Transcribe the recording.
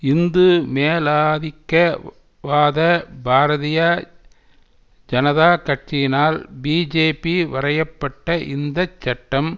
இந்து மேலாதிக்க வாத பாரதீய ஜனதா கட்சியினால் பிஜேபீ வரைய பட்ட இந்த சட்டம்